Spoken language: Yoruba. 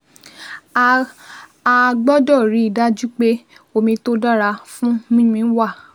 A A gbọ́dọ̀ rí i dájú pé omi tó dára fún mímu wà